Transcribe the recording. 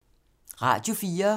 Radio 4